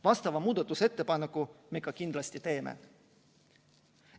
Vastava muudatusettepaneku me ka kindlasti teeme.